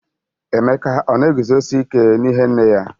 Emeka ọ na eguzosi ike n'ihe nne ya?